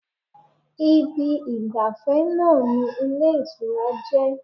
Ibi ìgbàfẹ́ náà ni ilé ìtura jẹ́